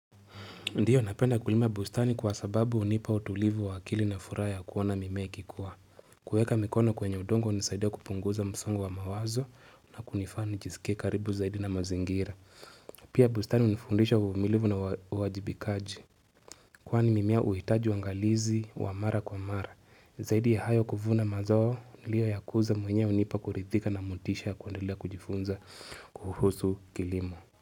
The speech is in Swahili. Ndiyo napenda kulima bustani kwa sababu hunipa utulivu wa akili na furaha ya kuona mimea ikikua. Kuweka mikono kwenye udongo hunisaidia kupunguza msongo wa mawazo na kunifaa nijiskie karibu zaidi na mazingira. Pia bustani unifundisha umilivu na uwajibikaji. Kwaani mimea huitaji wangalizi wa mara kwa mara. Zaidi ya hayo kuvuna mazao nilio yakuza mwenye hunipa kurithika na motisha kuandelea kujifunza kuhusu kilimo.